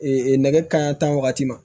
nɛgɛ kanɲɛ tan wagati ma